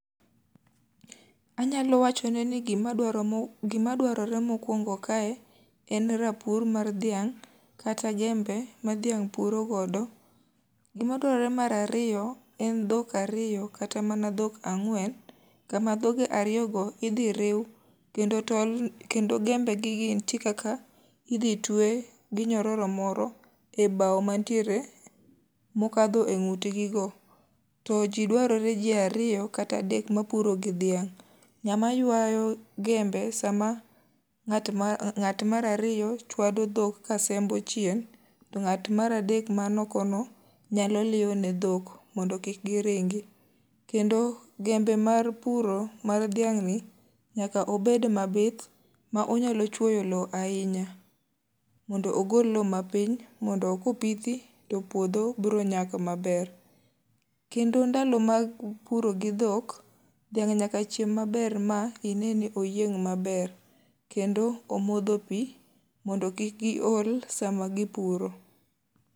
Anyalo wacho ne ni gimadwarore mokwongo kae en rapur mar dhiang' kata jembe ma dhiang' puro godo. Gima dwarore marariyo, en dhok ariyo kata mana dhok ang'wen. Kama dhoge ariyo go idhi riw kendo tol, kendo gembe gi nitie kaka idhi twe gi nyororo moro e bau mantiere mokadho e ng'utgi go. To ji dwarore ji ariyo kata adek ma puro gi dhiang'. Ng'ama ywayo gembe sama ng'at ma ng'at marariyo chwado dhok ka sembo chien. To ng'at maradek man oko no nyalo liyo ne dhok mondo kik giringi. Kendo gembe mar puro mar dhiang' ni nyaka obed mabith ma onyalo chwoyo lo ahinya, mondo ogol lo mapiny. Mondo ko pithi to puodho bro nyak maber. Kendo ndalo mag puro gi dhok, dhiang' nyaka chiem maber ma ine ni oyieng' maber. Kendo omodho pi, mondo kik gi ol sama gipuro.